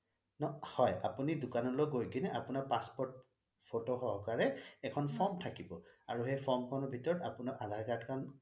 হয় আপুনি দোকানলৈ গৈ কেনে আপোনাৰ passport photo সহকাৰে এখন form থাকিব আৰু সেই form খনৰ ভিতৰত আপোনাৰ আধাৰ card খন